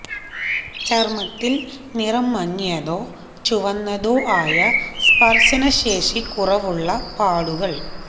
ചർമ്മത്തിൽ നിറം മങ്ങിയതോ ചുവന്നതോ ആയ സ്പർശന ശേഷിക്കുറവുള്ള പാടുകൾ